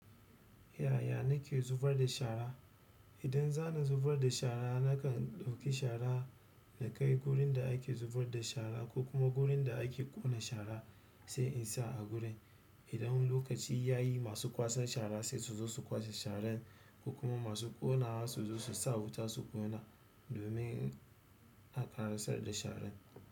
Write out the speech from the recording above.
Yaya nake zubar da shara? Idan za ni zubar da shara nakan ɗauki shara da na kai gurin da ake zubar da shara ko kuma gurin da ake ƙone shara sai in sa a gurin. Idan lokaci ya yi masu kwasan shara sai su zo su kwashe sharan ko kuma masu ƙonawa su zo su sa wuta su ƙona domin a ƙarasar da sharan.